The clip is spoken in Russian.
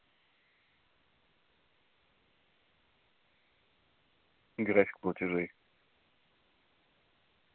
график платежей